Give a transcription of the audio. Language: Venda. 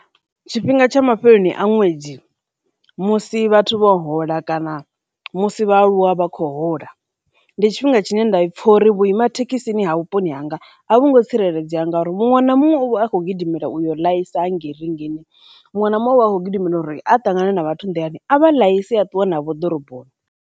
Tshifhinga tsha mafheloni a ṅwedzi musi vhathu vho hola kana musi vhaaluwa vha khou hola, ndi tshifhinga tshine nda i pfha uri vhuima thekhisi ha vhuponi hanga a vhungo tsireledzea ngauri muṅwe na muṅwe u vha a khou gidimela u yo ḽaisa hangei rinngini, muṅwe na muṅwe u vha a khou gidimela uri a ṱangana na vhathu nḓilani a vha ḽaise a ṱuwe navho ḓoroboni.